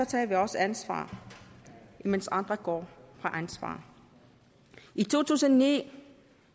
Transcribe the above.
tager vi også ansvar imens andre går fra ansvaret i to tusind og ni